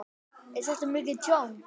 Jóhann: Er þetta mikið tjón?